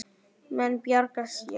Menn bjarga sér.